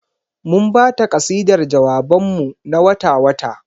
Mun ba ta kasidar jawaban mu na wata-wata.